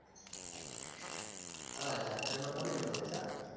હા જાત્રા માં કોને ન મજા આવે